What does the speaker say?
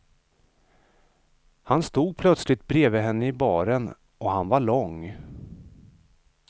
Han stod plötsligt bredvid henne i baren och han var lång.